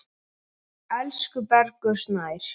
Elsku Bergur Snær.